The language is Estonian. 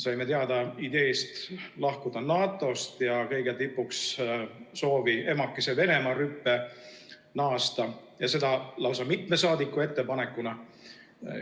Saime teada ideest lahkuda NATO-st ja kõige tipuks soovi emakese Venemaa rüppe naasta ja seda lausa mitme saadiku ettepanekuna.